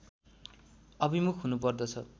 अभिमुख हुनुपर्दछ